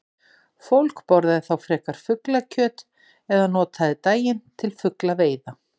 Fólk borðaði þá frekar fuglakjöt eða notaði daginn til fuglaveiða.